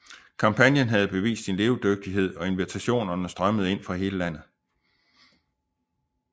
Kampagnen havde bevist sin levedygtighed og invitationerne strømmede ind fra hele landet